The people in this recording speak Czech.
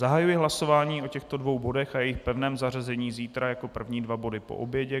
Zahajuji hlasování o těchto dvou bodech a jejich pevném zařazení zítra jako první dva body po obědě.